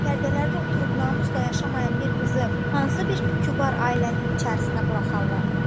Sərapərdələrdə oturub namusla yaşamayan bir qızı hansı bir kübar ailənin içərisinə buraxarlar?